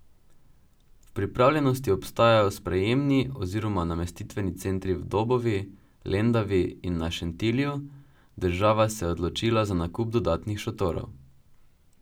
V pripravljenosti ostajajo sprejemni oziroma namestitveni centri v Dobovi, Lendavi in na Šentilju, država se je odločila za nakup dodatnih šotorov.